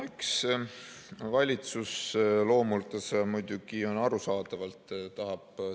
No eks valitsus loomuldasa muidugi arusaadavalt tahab ...